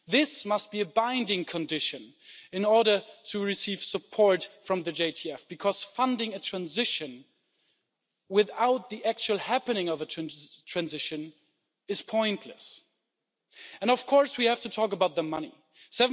This must be a binding condition in order to receive support from the JTF, because funding a transition without the actual happening of a transition is pointless. And of course we have to talk about the money EUR